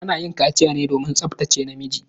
Ana yin kaciya ne domin tsabtace namiji.